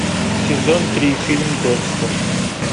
сезон три фильм декстер